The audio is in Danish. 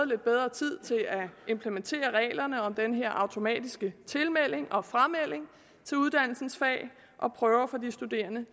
lidt bedre tid til at implementere reglerne om den her automatiske tilmelding og framelding til uddannelsens fag og prøver for de studerende